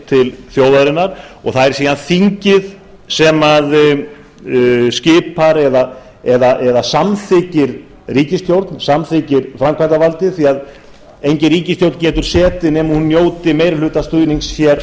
til þjóðarinnar og það er síðan þingið eða ríkisstjórnin sem skipar eða samþykkir framkvæmdarvaldið því engin ríkisstjórn getur setið nema að hún njóti meirihlutastuðnings hér